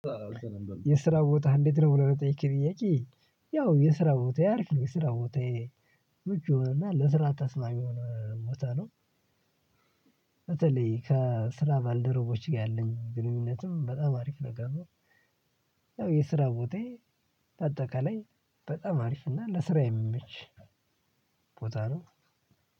የስራ ቦታህ እንዴት ነው? ብለህ ለጠየከኝ ጥያቄ ያው የስራ ቦታየ አርፍ ነው የስራ ቦታየ ምቹ የሆነና ለስራ ተስማሚ የሆነ ቦታ ነው። በተለይ ከስራ ባልደረቦች ጋር ያለኝ ግንኙነትም በጣም አሪፍ ነገር ነው። ያው የስራ ቦታየ በአጠቃላይ በጣም አሪፍ እና ለስራ የሚመች ቦታ ነው።